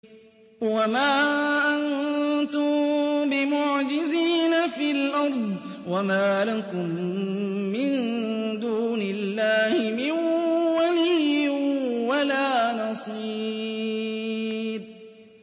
وَمَا أَنتُم بِمُعْجِزِينَ فِي الْأَرْضِ ۖ وَمَا لَكُم مِّن دُونِ اللَّهِ مِن وَلِيٍّ وَلَا نَصِيرٍ